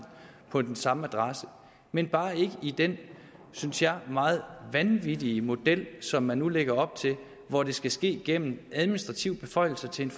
på den samme adresse men bare ikke i den synes jeg meget vanvittige model som man nu lægger op til hvor det skal ske gennem administrative beføjelser til en